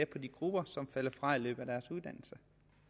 på de grupper som falder fra i løbet af deres uddannelse